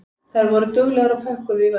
Þær voru duglegar og pökkuðu í vörn.